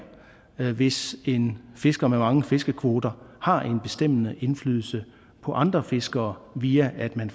det hvis en fisker med mange fiskekvoter har en bestemmende indflydelse på andre fiskere via at man